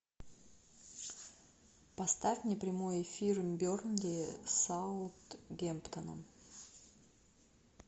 поставь мне прямой эфир бернли с саутгемптоном